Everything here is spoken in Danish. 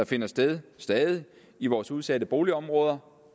finder sted i vores udsatte boligområder